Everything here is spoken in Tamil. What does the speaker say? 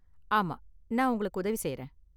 ஆமா, நான் உங்களுக்கு உதவி செய்யறேன்.